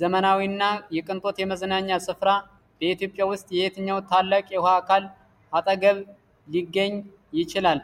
ዘመናዊ እና የቅንጦት የመዝናኛ ስፍራ በኢትዮጵያ ውስጥ የትኛው ታላቅ የውኃ አካል አጠገብ ሊገኝ ይችላል?